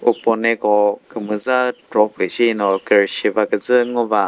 uponeko kümüza kropü shino kürüshi ba kütsü ngo ba.